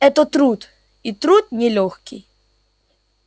это труд и труд нелёгкий